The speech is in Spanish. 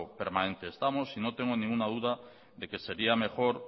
permanente estamos y no tengo ninguna duda de que sería mejor